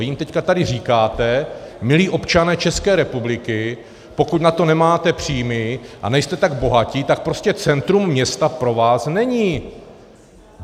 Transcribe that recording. Vy jim teď tady říkáte - milí občané České republiky, pokud na to nemáte příjmy a nejste tak bohatí, tak prostě centrum města pro vás není.